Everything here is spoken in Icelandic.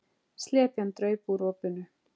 Slepjan draup úr opinu.